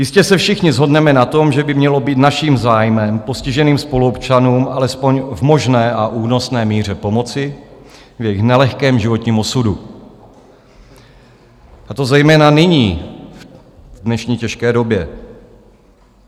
Jistě se všichni shodneme na tom, že by mělo být naším zájmem postiženým spoluobčanům alespoň v možné a únosné míře pomoci v jejich nelehkém životní osudu, a to zejména nyní, v dnešní těžké době.